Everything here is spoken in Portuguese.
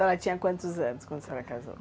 Só ela tinha quantos anos quando a senhora casou?